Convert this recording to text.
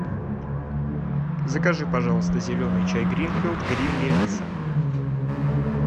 закажи пожалуйста зеленый чай гринфилд грин мелисса